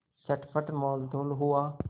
चटपट मोलतोल हुआ